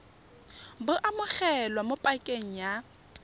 bo amogelwa mo pakeng ya